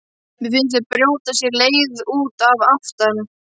Mér finnst þau brjóta sér leið út að aftan.